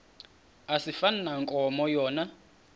asifani nankomo yona